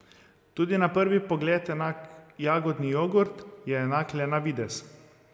Tudi na prvi pogled enak jagodni jogurt je enak le na videz.